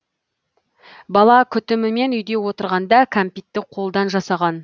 бала күтімімен үйде отырғанда кәмпитті қолдан жасаған